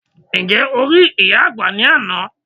Ǹjẹ́ o rí ìyá àgbà ní àná?